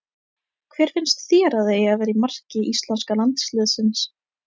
Hver finnst þér að eigi að vera í marki íslenska landsliðsins?